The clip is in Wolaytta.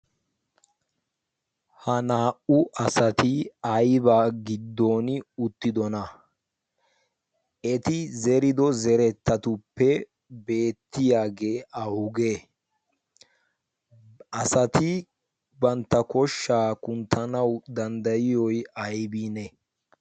ha naa'u asati aibaa giddon uttidona eti zerido zerettatuppe beettiyaagee ahuge asati bantta koshshaa kunttanawu danddayiyoy aybiine?